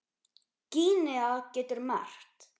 Gínea getur merkt